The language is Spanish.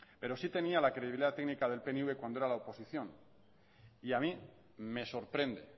pero sí tenía la credibilidad técnica del pnv cuando era la oposición y a mí me sorprende